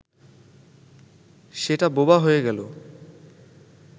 সেটা বোবা হয়ে গেল